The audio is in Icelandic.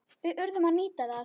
Við urðum að nýta það.